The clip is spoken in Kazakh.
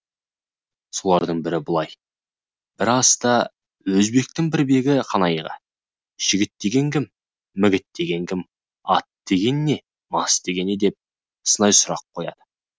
солардың бірі былай бір аста өзбектің бір бегі қанайға жігіт деген кім мігіт деген кім ат деген не мас деген не деп сынай сұрақ қояды